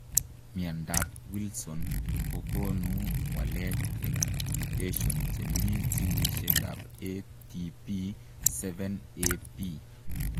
Miandap wilson kokonuu waleet eng mutetion chemii jinisiek ap ATP7AB.